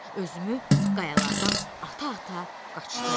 Özümü qayalardan ata-ata qaçdım.